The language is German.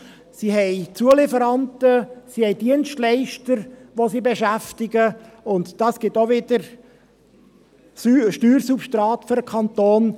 Diese haben Zulieferanten, sie haben Dienstleister, welche sie beschäftigen, und dies ergibt auch wieder Steuersubstrat für den Kanton.